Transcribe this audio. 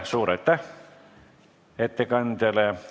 Suur aitäh ettekandjale!